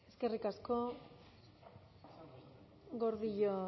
eskerrik asko gordillo